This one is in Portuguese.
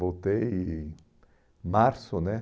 Voltei em março, né?